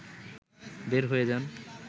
বের হয়ে যান